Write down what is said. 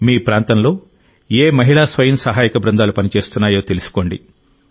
మీ ప్రాంతంలో ఏ మహిళా స్వయం సహాయక బృందాలు పనిచేస్తున్నాయో తెలుసుకోండి